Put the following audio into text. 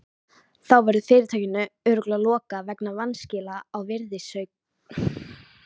Þá verður fyrirtækinu örugglega lokað vegna vanskila á virðisaukaskatti.